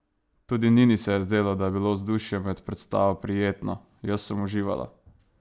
Tudi Nini se je zdelo, da je bilo vzdušje med predstavo prijetno: ''Jaz sem uživala.